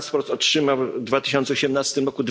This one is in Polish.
transport otrzymał w 2018 r.